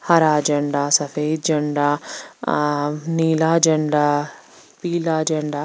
हरा झंडा सफ़ेद झंडा अः नीला झंडा पीला झंडा।